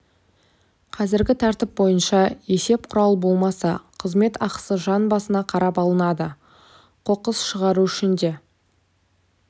қазіргі тәртіп бойынша есеп құралы болмаса қызмет ақысы жан басына қарап алынады қоқыс шығару үшін де